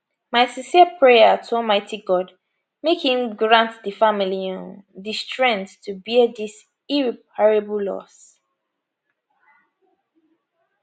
my sincere prayer to almighty god make im grant di family um di strength to bear dis irreparable loss